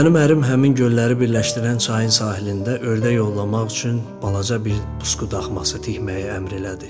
Mənim ərim həmin gölləri birləşdirən çayın sahilində ördək ovlamaq üçün balaca bir pusqu daxması tikməyi əmr elədi.